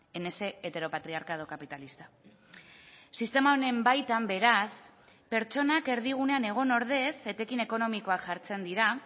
en ese heteropatriarcado capitalista sistema honen baitan beraz pertsonak erdigunean egon ordez etekin ekonomikoak jartzen dira